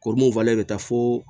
Kɔri mun fana bɛ taa fo